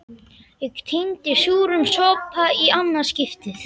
Ég kyngi súrum sopa í annað skipti.